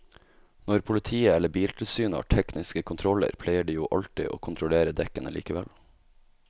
Når politiet eller biltilsynet har tekniske kontroller pleier de jo alltid å kontrollere dekkene likevel.